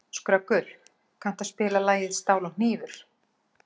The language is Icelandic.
Skröggur, kanntu að spila lagið „Stál og hnífur“?